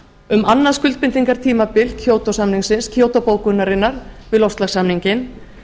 um annað skuldbindingartímabil kýótó samningsins kýótó bókunarinnar við loftslagssamninginn